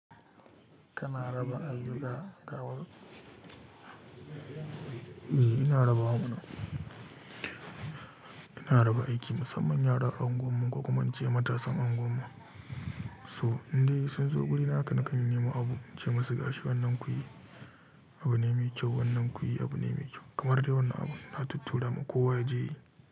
Kana raba ayyuka kawai? Eh, ina raba wa mana. Ina raba aiki musamman yaran anguwar mu ko kuma na ce matasan anguwar mu, so in dai sun zo guri na haka, nakan nemi abu, in ce musu gashi wannan ku yi abu ne mai kyau, wannan ku yi abu ne mai kyau kamar dai wannan abun na tuttura ma kowa ya je yi.